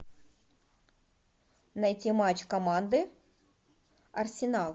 найти матч команды арсенал